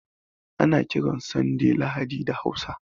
Ana kiran Sanday Lahadi da Hausa